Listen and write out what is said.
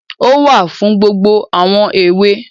Ó wà fún gbogbo àwọn èwe.